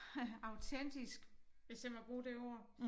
Autentisk hvis jeg må bruge det ord